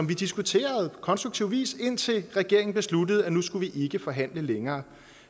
vi diskuteret vi konstruktiv vis indtil regeringen besluttede at nu skulle vi ikke forhandle længere